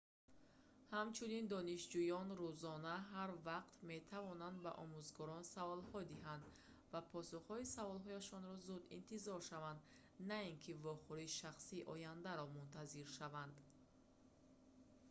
ҳамчунин донишҷӯён рӯзона ҳар вақт метавонанд ба омӯзгорон саволҳо диҳанд ва посухҳои суолҳояшонро зуд интизор шаванд на ин ки вохӯрии шахсии ояндаро мунтазир шаванд